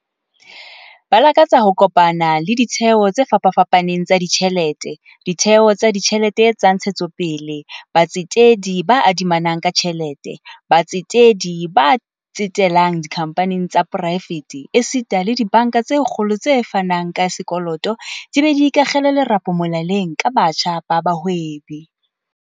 Ba lakatsa ho kopana le ditheo tse fapafapaneng tsa ditjhelete, ditheo tsa ditjhelete tsa ntshetsopele, batsetedi ba adimanang ka tjhelete, batsetedi ba tsetelang dikhamphaneng tsa poraefete esita le dibanka tse kgolo tse fanang ka sekoloto di be di ikakgele lerapo molaleng ka batjha ba bahwebi.